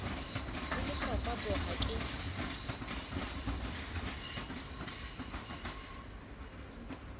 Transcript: le lehlokwa bo ha ke